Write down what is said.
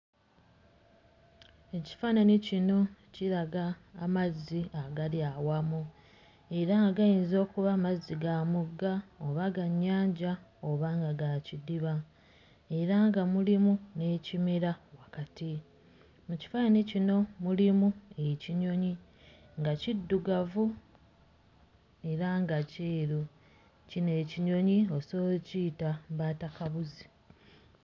Ekifaananyi kino kiraga mazzi agali awamu era nga gayinza okuba mazzi ga mugga oba ga nnyanja oba nga ga kidiba era nga mulimu n'ekimera wakati. Mu kifaananyi kino mulimu ekinyonyi nga kiddugavu era nga kyeru. Kino ekinyonyi osobola okkiyita mbaatakabuzi.